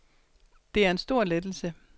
Det er en stor lettelse.